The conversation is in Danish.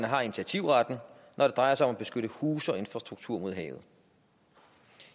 har initiativretten når det drejer sig om at beskytte huse og infrastruktur mod havet